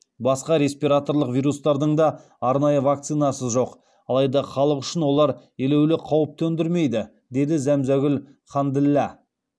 басқа респираторлық вирустардың да арнайы вакцинасы жоқ алайда халық үшін олар елеулі қауіп төндірмейді деді зәмзәгүл ханділла